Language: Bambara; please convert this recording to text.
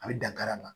A bɛ dankari la